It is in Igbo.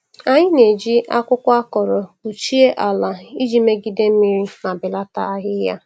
Anyị na-eji akwụkwọ akọrọ kpuchie ala iji jigide mmiri ma belata ahịhịa.